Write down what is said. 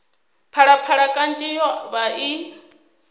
phalaphala kanzhi yo vha i